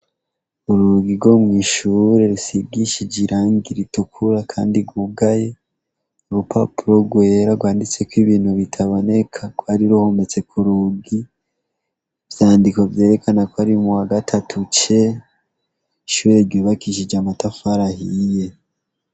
Urugi rwo mw' ishuri rusigishije irangi ritukura kandi rwugaye, urupapuro rwera rwanditseko ibintu biraboneka rwari ruhometse ku rugi, ivyandiko vyerekana ko ari mu wa gatatu C, ishuri ryubakishije amatafari ahiye.